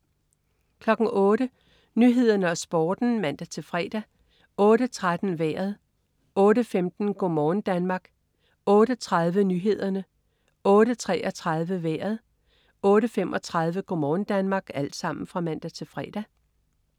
08.00 Nyhederne og Sporten (man-fre) 08.13 Vejret (man-fre) 08.15 Go' morgen Danmark (man-fre) 08.30 Nyhederne (man-fre) 08.33 Vejret (man-fre) 08.35 Go' morgen Danmark (man-fre)